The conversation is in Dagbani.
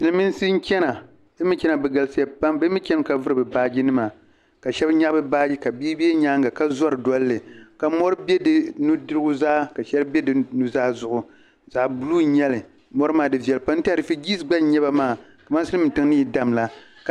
Silimiinsi n chana bɛ mi ni chani maa bɛ galisiya pam ka vuri bɛ baaginima ka shɛbi nyahi bɛ baagi ka bii be bɛ nyaaŋa ka zɔri ka mɔri be nuzaa zuɣu zaɣbuluu n nyeli mɔri maa di viɛlli pam n tɛha rifurigee gba n nyeba maa ka maa Silimiintiŋ ni yi damla.